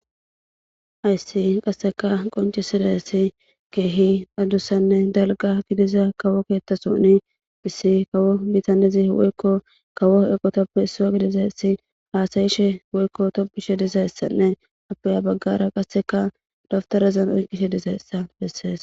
ayssi qasseka qonci sida ssi keehi addussanne dalga gidiza kawo keettasouni issi kawo bitanezi woykko kawo eqo toppe issiwa gidizassi haasayishe woykko toppishe dizayessanne apaya baggara qasseka daftarazan oyqishe diza essa bessees